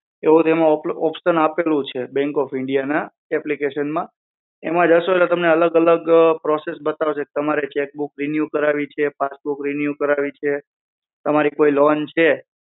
axis કરીને એવોજ એમાં option આપેલો છે bank of India ના application માં એમાં જશો એટલે તમને અલગ અલગ બતાવશે તમારે cheque book renew કરાવી છે passbook renew કરાવી છે તમારી કોઈ loan છે